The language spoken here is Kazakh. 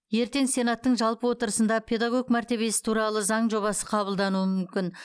ертең сенаттың жалпы отырысында педагог мәртебесі туралы заң жобасы қабылдануы мүмкін